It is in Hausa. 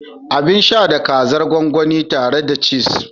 Abin sha da kaza gwangwani tare da chise